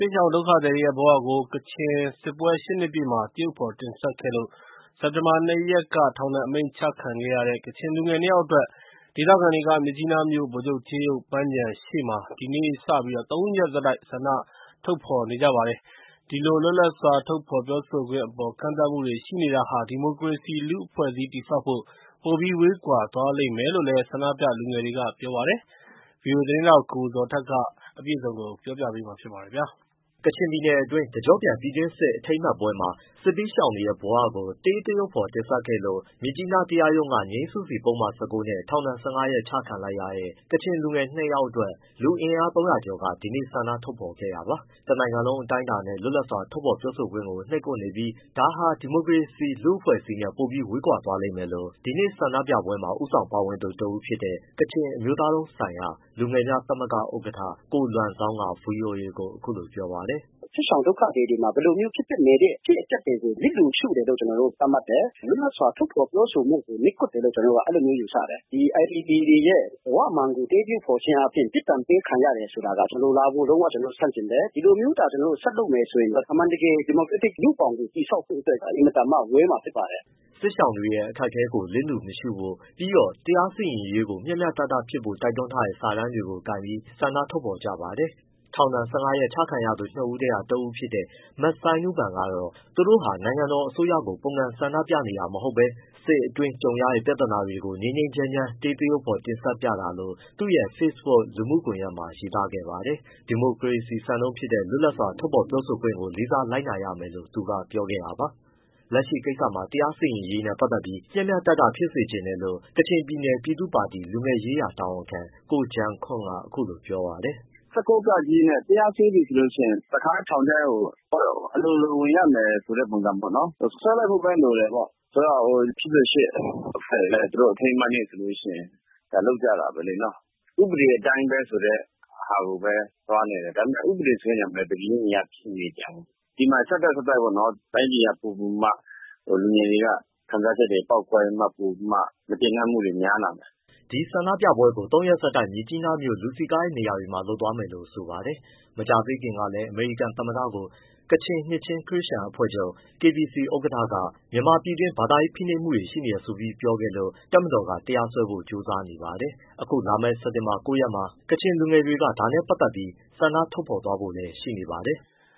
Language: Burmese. င်ဒုက္ခသည်တွေရဲ့ ဘဝကို ကချင်စစ်ပွဲ ၈ နှစ်ပြည့်မှာ သရုပ်ဖော်တင်ဆက်ခဲ့လို့ စက်တင်ဘာ ၂ ရက်က ထောင်ဒဏ်အမိန့်ချခံရတဲ့ ကချင်လူငယ် နှစ် ယောက်အတွက် ဒေသခံတွေက မြစ်ကြီးနားမြို့ ဗိုလ်ချုပ်ကြေးရုပ်ပန်းခြံရှေ့မှာ ဒီနေ့ စပြီး ၃ ရက်ဆက်တိုက် ဆန္ဒထုတ် ဖော်ထုတ်နေကြပါတယ်။ ဒီလို လွတ်လပ်စွာ ထုတ်ဖော်ပြောဆိုခွင့်အပေါ် ကန့်သတ်မှုတွေ ရှိနေတာဟာ ဒီမိုကရေစီ လူ့အဖွဲ့အစည်း တည်ဆောက်ဖို့ ပိုပြီး ဝေးကွာသွားလိမ့်မယ်လို့ ဆန္ဒပြလူငယ်တွေကပြောပါတယ်။ ဗွီအိုအေ သတင်းထောက် ကိုဇော်ထက် မေးမြန်းပေးပို့ထားပါတယ်။ ကချင်ပြည်နယ်တွင်း တကြော့ပြန် ပြည်တွင်းစစ် အထိမ်းအမှတ်ပွဲမှာ စစ်ဘေးရှောင်တွေရဲ့ ဘဝကို တေးသရုပ်ဖော် တင်ဆက်ခဲ့လို့ မြစ်ကြီးနား တရားရုံးက ငြိမ်းစုစီပုဒ်မနဲ့ ၁၉ နဲ့ ထောင်ဒဏ် ၁၅ ရက်ချလိုက်တဲ့ ကချင်လူငယ် နှစ် ယောက်အတွက် လူအင်အား ၃၀၀ ကျော်က ဒီနေ့ ဆန္ဒထုတ်ဖော်ခဲ့တာပါ။ တနိုင်ငံလုံး အတိုင်းအတာနဲ့ လွတ်လပ်စွာ ထုတ်ဖော်ပြောဆိုခွင့်ကို နှိပ်ကွပ်နေပြီး ဒါဟာ ဒီမိုကရက်တစ ်လူ့အဖွဲ့အစည်းနဲ့ ပိုပြီးဝေးသွားလိမ့်မယ်လို့ ဒီနေ့ဆန္ဒပြပွဲမှာ ဦးဆောင် ပါဝင်သူ တဦးဖြစ်တဲ့ ကချင် အမျိုးသားလုံးဆိုင်ရာ လူငယ်များသမဂ္ဂ ဥက္ကဋ္ဌ ကိုလွမ်ဇောင်းက ဗွီအိုအေကို အခုလိုပြောပါတယ်။ “စစ်ရှောင် ဒုက္ခသည်တွေမှာ ဖြစ်ပျက်နေတဲ့ အဖြစ်အပျက်တွေကို လျစ်လျူရှုတယ်လို့ ကျနော်တို့က သတ်မှတ်တယ်။ လွတ်လပ်စွာ ထုတ်ဖော်ပြောဆိုခွင့်ကို နှိပ်ကွပ်တယ်လို့ ကျနော်တို့က အဲဒီ်လို ယူဆတယ်။ ဒီ IDP တွေရဲ့ ဘဝမှန်ကို တေးသရုပ်ဖော်ခြင်းအားဖြင့် ပြစ်ဒဏ်ပေးခံရတယ်ဆိုတာက မလိုလားဘူး ကျနော်တို့ လုံးဝဆန့်ကျင်တယ်။ ဒီလိုမျိုးသာ ဆက်လုပ်မယ်ဆိုရင်တော့ အမှန်တကယ် ဒီမိုကရက်တစ်လူ့ဘောင်ကို တည်ဆောက်ဖို့အတွက်က အင်မတန်မှ ဝေးမှာဖြစ်ပါတယ်။” စစ်ရှောင်တွေရဲ့ အခက်အခဲတွေကို လျစ်လျူမရှုဖို့ ပြီးတော့ လက်ရှိ တရားစီရင်ရေးကို မျှမျှတတဖြစ်ဖို့ တိုက်တွန်းထားတဲ့ စာတန်းတွေ ကိုင်ပြီး ဆန္ဒထုတ်ဖော် ကြပါတယ်။ ထောင်ဒဏ် ၁၅ ရက် ချခံရသူ နှစ်ဦးထဲက တဦးဖြစ်တဲ့ မဆိုင်းနူးပန်ကတော့ သူတို့ဟာ နိုင်ငံတော်အစိုးရကို ပုန်ကန် ဆန္ဒပြနေတာ မဟုတ်ဘဲ စစ်အတွင်းကြုံရတဲ့ ပြဿနာတွေကို ငြိမ်းငြိမ်းချမ်းချမ်း တေးသရုပ်ဖော် တင်ဆက်ပြတာလို့ သူ့ရဲ့ Facebook လူမှုကွန်ရက်မှာ ရေးခဲ့ပါတယ်။ ဒီမိုကရေစီ စံနှုန်းဖြစ်တဲ့ လွတ်လပ်စွာ ထုတ်ဖော်ပြောဆိုခွင့်ကို လေးစား လိုက်နာရမယ်လို့ သူကပြောခဲ့တာပါ။ ဒီကိစ္စမှာ လက်ရှိတရားစီရင်ရေးနဲ့ ပတ်သက်ပြီး မျှမျှတတ ဖြစ်စေချင်တယ်လို့ ကချင်ပြည်နယ်ပြည်သူ့ပါတီ လူငယ်ရေးရာတာဝန်ခံ ကိုဂျန်ခွန့်က ပြောပါတယ်။ “၁၉ ဃ နဲ့ တရားစွဲပြီဆိုလို့ရှိရင် တခါတည်းထောင်ထဲကို အလိုလိုဝင်ရမယ်ဆိုတဲ့ ပုံစံပေါ့နော်။ စွဲလိုက်ဖို့ပဲ လိုတယ်ပေါ့ ဆိုတော့ ၈၈အဖွဲ့တွေလည်း သူတို့ အထိမ်းအမှတ်နေ့ဆိုရင် လုပ်ကြတာပဲလေနော်။ ဥပဒေအတိုင်းပဲဆိုတဲ့ဟာကိုပဲ သွားနေတယ်။ ဒါပေမဲ့ ဥပဒေဆိုတဲ့ နေရာမှာလည်း တပြေးညီတည်း မနေပြန်ဘူး။ ဒီမှာ ဆက်တိုက်ဆက်တိုက်ပေါ့နော် တိုင်းပြည်က ပိုပိုပြီးတော့မှ လူငယ်တွေက ခံစားချက်တွေ ပေါက်ဖွားပြီး မကျေနပ်မှုတွေ များလာမယ်။” ဒီဆန္ဒထုတ်ဖော်ပွဲကို ၃ ရက် ဆက်တိုက် မြစ်ကြီးနားမြို့ လူစည်ကားတဲ့ နေရာတွေမှာ လုပ်သွားမယ်လို့ ဆိုပါတယ်။ မကြာသေးခင်ကလည်း အမေရိကန်သမ္မတကို ကချင်နှစ်ခြင်းခရစ်ယာန်အဖွဲ့ချုပ် KBC ဥက္ကဋ္ဌက မြန်မာပြည်တွင်း ဘာသာရေးဖိနှိပ်မှုတွေ ရှိနေတယ်ဆိုပြီးပြောခဲ့လို့ တပ်မတော်က တရားစွဲထားပါတယ်။ ခုလာမယ့် စက်တင်ဘာ ၉ ရက်မှာ ကချင်လူငယ်တွေက ဒါနဲ့ပတ်သက်ပြီး ဆန္ဒထုတ်ဖော်ဖို့လည်း ရှိနေပါတယ်။